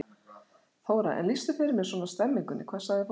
Þóra: En lýstu fyrir mér svona stemmingunni, hvað sagði fólk?